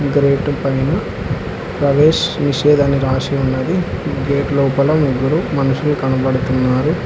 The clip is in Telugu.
గ్రేటు పైన ప్రవేష్ నిషేధ్ అని రాసి ఉన్నది గేట్ లోపల ముగ్గురు మనుషులు కనబడుతున్నారు.